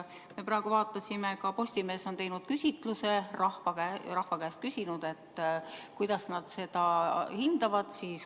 Me vaatasime, ka Postimees on teinud küsitluse, on rahva käest küsinud, et kuidas nad seda hindavad.